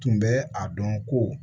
Tun bɛ a dɔn ko